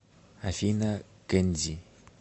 афина кензи